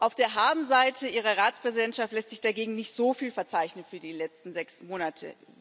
Auf der Habenseite Ihrer Ratspräsidentschaft lässt sich dagegen nicht so viel verzeichnen für die letzten sechs Monate.